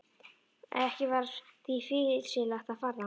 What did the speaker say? Ekki var því fýsilegt að fara þangað.